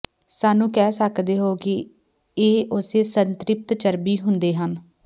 ਸਾਨੂੰ ਕਹਿ ਸਕਦੇ ਹੋ ਕਿ ਇਹ ਉਸੇ ਸੰਤ੍ਰਿਪਤ ਚਰਬੀ ਹੁੰਦੇ ਹਨ